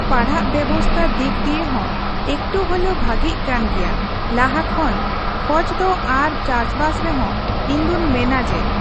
ᱯᱟᱲᱦᱟᱜ ᱵᱮᱵᱚᱥᱛᱷᱟ ᱫᱤᱠ ᱫᱤᱭᱮ ᱦᱚᱸ ᱮᱠᱴᱩ ᱦᱚᱞᱮᱭᱳ ᱵᱷᱟᱜᱮᱜ ᱠᱟᱱ ᱜᱮᱭᱟ ᱞᱟᱦᱟ ᱠᱷᱚᱱ ᱠᱷᱚᱡ ᱫᱚ ᱟᱨ ᱪᱟᱥᱵᱟᱥ ᱨᱮᱦᱚᱸ ᱤᱧ ᱫᱩᱧ ᱢᱮᱱᱟ ᱡᱮ᱾